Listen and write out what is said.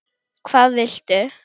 hvað viltu?